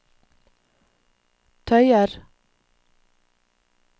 tøyer